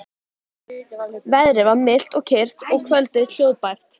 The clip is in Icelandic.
Veðrið var milt og kyrrt og kvöldið hljóðbært.